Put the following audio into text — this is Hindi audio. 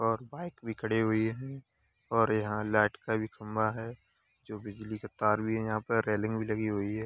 और बाइक भी खड़ी हुई है और यहाँ लाइट का भी खंभा है जो बिजली का तार भी है यहाँ पर रेलिंग भी लगी हुई है।